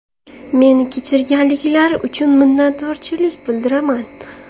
Meni kechirganliklari uchun minnatdorlik bildiraman.